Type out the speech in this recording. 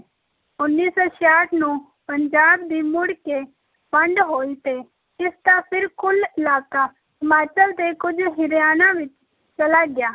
ਉੱਨੀ ਸੌ ਛਿਆਹਠ ਨੂੰ ਪੰਜਾਬ ਦੀ ਮੁੜ ਕੇ ਵੰਡ ਹੋਈ ਤੇ ਇਸ ਦਾ ਫਿਰ ਕੁੱਲ ਇਲਾਕਾ ਹਿਮਾਚਲ ਤੇ ਕੁੱਝ ਹਰਿਆਣਾ ਵਿੱਚ ਚਲਾ ਗਿਆ,